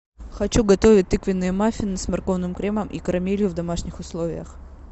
хочу готовить тыквенные маффины с морковным кремом и карамелью в домашних условиях